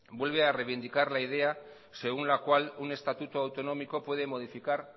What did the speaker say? vuelve a reivindicar la idea según la cual un estatuto autonómico puede modificar